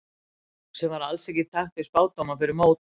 Sem var alls ekki í takt við spádóma fyrir mót.